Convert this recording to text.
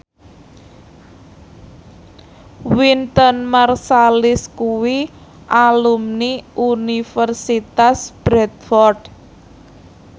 Wynton Marsalis kuwi alumni Universitas Bradford